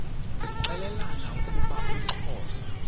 zixelelana ukuba uxhosa